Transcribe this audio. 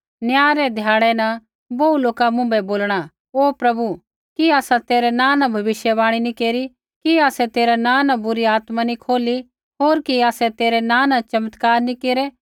न्याय रै ध्याड़ै न बोहू लोका मुँभै बोलणा हे प्रभु कि आसै तेरै नाँ न भविष्यवाणी नी केरी कि आसै तेरै नाँ न बुरी आत्मा नी खोली होर कि आसै तेरै नाँ न चमत्कार नी केरै